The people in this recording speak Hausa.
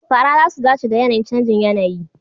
fara za su dace da yAnayin canjin yAnayi